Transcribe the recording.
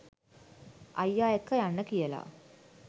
අයියා එක්ක යන්න කියලා